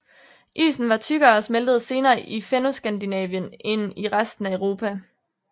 Isen var tykkere og smeltede senere i Fennoskandinavien end i resten af Europa